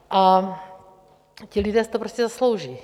A ti lidé si to prostě zaslouží.